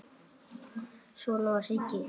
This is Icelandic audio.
Svona var Siggi.